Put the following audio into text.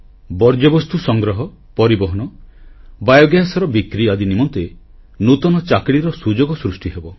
ବର୍ଜ୍ୟବସ୍ତୁ ସଂଗ୍ରହ ପରିବହନ ବାୟୋଗ୍ୟାସର ବିକ୍ରି ଆଦି ନିମନ୍ତେ ନୂତନ ଚାକିରିର ସୁଯୋଗ ସୃଷ୍ଟିହେବ